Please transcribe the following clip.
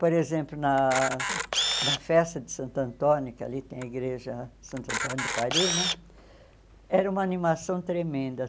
Por exemplo, na da festa de Santo Antônio, que ali tem a igreja Santo Antônio do Pari né, era uma animação tremenda.